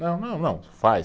Não, não, não, faz.